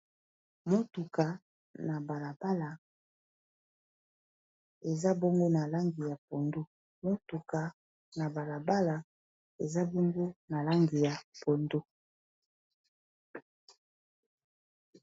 Motuka na balabala eza bongo na langi ya pondu motuka na balabala eza bongo na langi ya pondu.